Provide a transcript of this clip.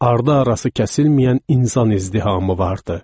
Ardı-arası kəsilməyən insan izdihamı vardı.